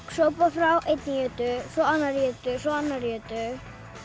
sópa frá einni jötu svo annarri jötu svo annarri jötu